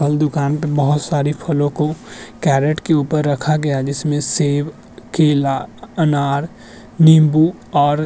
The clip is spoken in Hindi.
फल दुकान पे बोहोत सारी फलों को कैरेट के ऊपर रखा गया है जिसमें सेब केला अनार नींबू और --